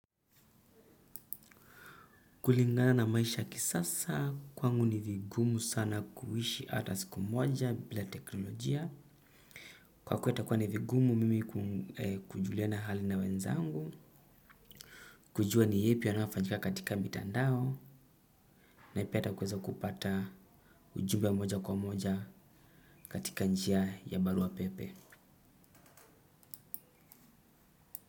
Kulingana na maisha kisasa kwangu nivigumu sana kuwishi ata siku moja bila teknolojia. Kwa kuwa itakuwa ni vigumu mimi kujuliana hali na wenzangu. Kujua ni hepi yanayo fanyika katika mitandao. Na pia kuweza kupata ujumbe moja kwa moja katika njia ya barua pepe.